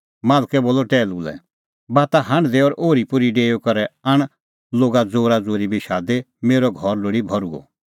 मालकै बोलअ टैहलू लै बाता हांढदै और ओरीपोरी डेऊई करै आण लोगा ज़ोराज़ोरी बी शादी मेरअ घर लोल़ी भर्हुअ